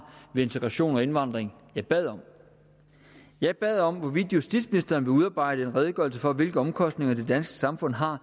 ved integration og indvandring jeg bad om jeg bad om hvorvidt justitsministeren ville udarbejde en redegørelse for hvilke omkostninger det danske samfund har